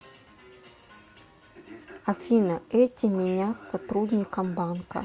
афина эти меня с сотрудником банка